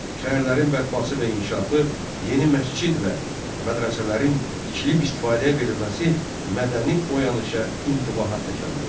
Şəhərlərin bərpası və inkişafı, yeni məscid və mədrəsələrin tikilib istifadəyə verilməsi mədəni oyanışa, intibaha təkan verdi.